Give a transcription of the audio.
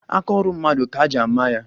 Aka ọrụ mmadụ ka-eji ama ya